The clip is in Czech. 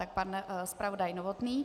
Tak pan zpravodaj Novotný.